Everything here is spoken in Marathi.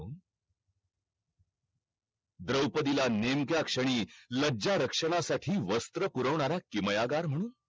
द्रौपदी ला नेमक्या क्षणी लज्जा रक्षणा साठी वस्त्र पुरवणारा किमयादार म्हणून